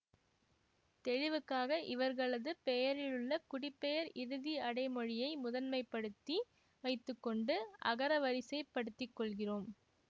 தெளிவுக்காக இவர்களது பெயரிலுள்ள குடிப்பெயர் இறுதி அடைமொழியை முதன்மைப்படுத்தி வைத்து கொண்டு அகரவரிசைப் படுத்திக்கொள்கிறோம்